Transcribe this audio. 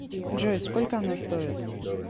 джой сколько она стоит